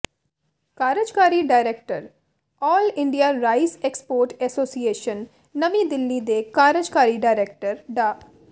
ਕਾਰਜਕਾਰੀ director all India rice export association ਨਵੀਂ ਦਿੱਲੀ ਦੇ ਕਾਰਜਕਾਰੀ ਡਾਇਰੈਕਟਰ ਡਾ